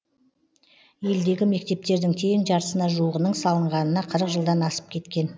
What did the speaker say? елдегі мектептердің тең жартысына жуығының салынғанына қырық жылдан асып кеткен